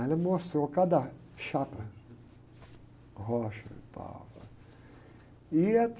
Aí ela mostrou cada chapa, rocha e tal. E a